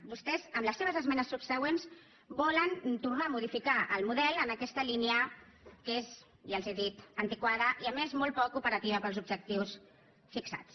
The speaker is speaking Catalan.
vostès amb els seves esmenes subsegüents volen tornar a modificar el model en aquesta línia que és ja els ho he dit antiquada i a més molt poc operativa per als objectius fixats